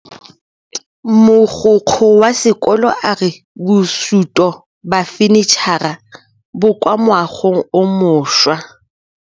Mogokgo wa sekolo a re bosutô ba fanitšhara bo kwa moagong o mošwa.